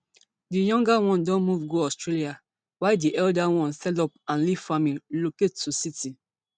di younger one don move go australia while di elder one sell up and leave farming relocate to city